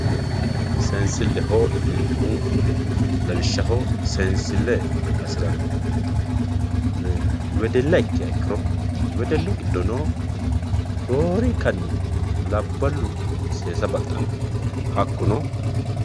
seensilleho yineemmohu lawishshaho saansille hasirannohu wedella ikkiha ikkiro wedellu giddono roorinka labbalu seesa baxxanno hakkuno...